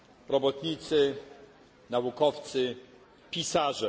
Robotnicy, naukowcy, pisarze.